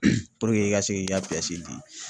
i ka se k'i ka di.